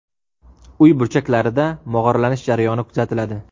Uy burchaklarida mog‘orlanish jarayoni kuzatiladi.